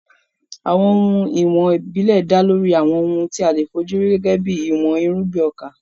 Àwọn ohun ìwọ̀n ìbílẹ̀ dá lórí àwọn ohun tí a lè fi ojú rí gẹ́gẹ́ bí ìwọ̀n irúgbìn ọkà.